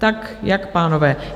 Tak jak, pánové?